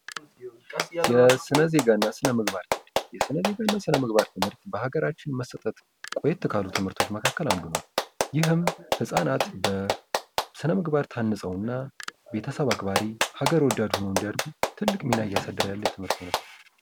የስነ ዜጋ እና ስነምግባር የስነ ዜጋ እና ስነምግባር ትምህርት በሀገራችን መሰጠት ቆይት ካሉ ትምህርቶች መካከል አንዱ ነው። ይህም ህጻናት በስነ ምግባር ታንፅው እና ቤተሰብ አክባሪ፣ ሀገር ወዳድ ሆነው እንዲያድጉ ትልቅ ሚና እያሳደረ ያለ የትምህርት አይነት ነው።